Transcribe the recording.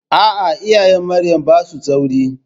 A'a, iyayen Marya ba su da tsauri.